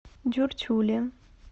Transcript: дюртюли